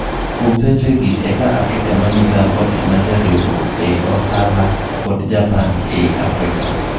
Kwuom sechegi eki Afrika ma milambo ema jariuruok ei ohala kod Japan ei Afrika.